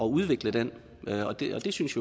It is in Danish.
udvikle den og det synes